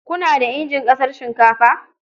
Kuna da injin casar shinkafa?